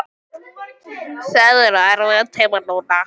Það eru erfiðir tímar núna.